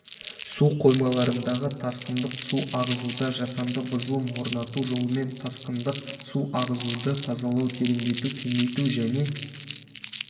су қоймаларындағы тасқындық су ағызуда жасанды бұзылым орнату жолымен тасқындық су ағызуды тазалау тереңдету кеңейту және